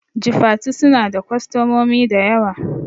Jifatu suna da kwastamomi dayawa